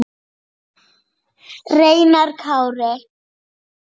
Reynar Kári.